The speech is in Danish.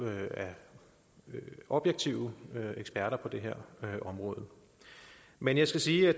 af objektive eksperter på det her område men jeg skal sige at